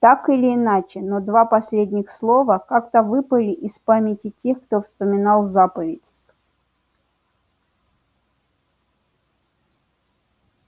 так или иначе но два последних слова как-то выпали из памяти тех кто вспоминал заповедь